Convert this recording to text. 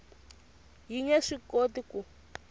yi nge swi koti ku